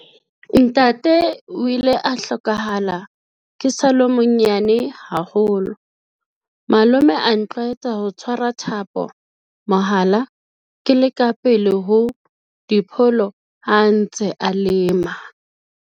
Ntate o ile a hlokahala ke sa le monyane haholo, malome a ntlwaetsa ho tshwara thapo, mohala, ke le ka pele ho dipholo ha a ntse a lema.